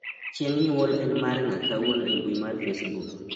chieng' nyuol en mar ng'a kawuono e mbui mar facebook